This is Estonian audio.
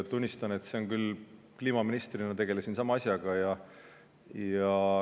Tunnistan, et kliimaministrina tegelesin sama asjaga.